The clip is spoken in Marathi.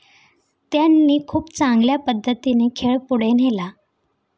त्यांनी खूप चांगल्या पद्धतीने खेळ पुढे नेला.